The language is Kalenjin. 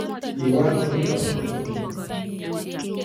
kiwal orititab kotnyin